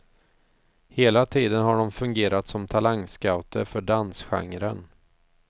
Hela tiden har de fungerat som talangscouter för dansgenren.